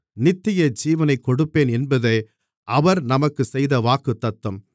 நித்தியஜீவனை கொடுப்பேன் என்பதே அவர் நமக்குச் செய்த வாக்குத்தத்தம்